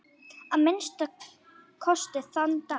Að minnsta kosti þann dag.